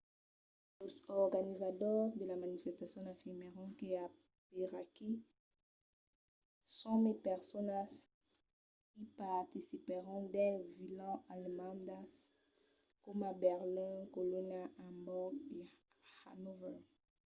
los organizadors de la manifestacion afirmèron que aperaquí 100.000 personas i participèron dins de vilas alemandas coma berlin colonha amborg e hannover